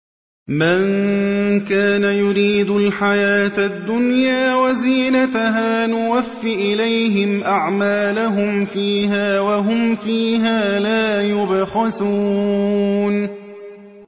مَن كَانَ يُرِيدُ الْحَيَاةَ الدُّنْيَا وَزِينَتَهَا نُوَفِّ إِلَيْهِمْ أَعْمَالَهُمْ فِيهَا وَهُمْ فِيهَا لَا يُبْخَسُونَ